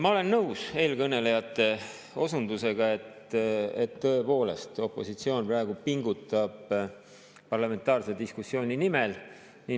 Ma olen nõus eelkõnelejate osundusega, et tõepoolest opositsioon praegu pingutab parlamentaarse diskussiooni nimel.